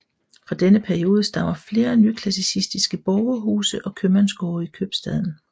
Fra denne periode stammer flere nyklassicistiske borgerhuse og købmandsgårde i købstaden